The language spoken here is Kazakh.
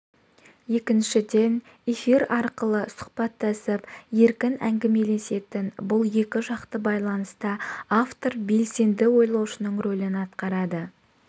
екіншіден эфир арқылы сұхбаттасып еркін әңгімелесетін бұл екі жақты байланыста автор белсенді ойлаушының рөлін атқарады